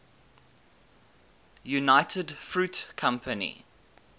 united fruit company